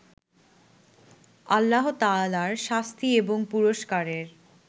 আল্লাহতায়ালার শাস্তি এবং পুরস্কারের